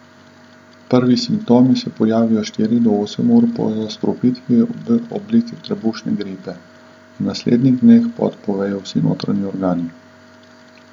Prvi simptomi se pojavijo štiri do osem ur po zastrupitvi v obliki trebušne gripe, v naslednjih dneh pa odpovejo vsi notranji organi.